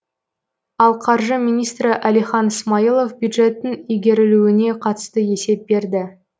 ал қаржы министрі әлихан смайылов бюджеттің игерілуіне қатысты есеп берді